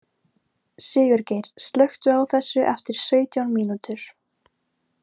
Sigurgeir, slökktu á þessu eftir sautján mínútur.